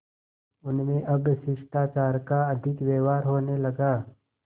उनमें अब शिष्टाचार का अधिक व्यवहार होने लगा